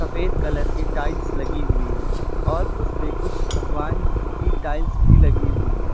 सफेद कलर की टाइल्स लगी हुई है और उस पे कुछ भगवान की टाइल्स भी लगी हुई है।